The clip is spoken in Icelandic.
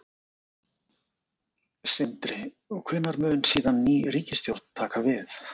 Sindri: Hvenær mun síðan ný ríkisstjórn taka við?